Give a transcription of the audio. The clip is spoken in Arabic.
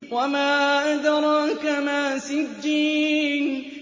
وَمَا أَدْرَاكَ مَا سِجِّينٌ